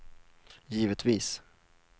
givetvis